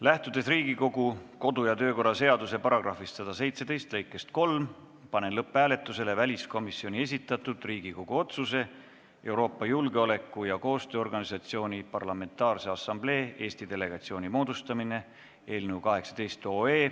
Lähtudes Riigikogu kodu- ja töökorra seaduse § 117 lõikest 3, panen lõpphääletusele väliskomisjoni esitatud Riigikogu otsuse "Euroopa Julgeoleku- ja Koostööorganisatsiooni Parlamentaarse Assamblee Eesti delegatsiooni moodustamine" eelnõu 18.